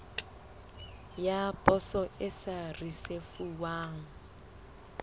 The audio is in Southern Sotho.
ya poso e sa risefuwang